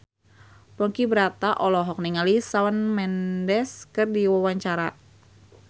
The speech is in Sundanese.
Ponky Brata olohok ningali Shawn Mendes keur diwawancara